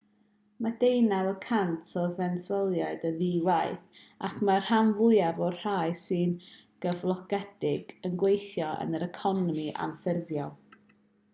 mae deunaw y cant o fenesweliaid yn ddi-waith ac mae'r rhan fwyaf o'r rhai sy'n gyflogedig yn gweithio yn yr economi anffurfiol